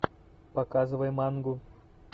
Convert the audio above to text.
показывай мангу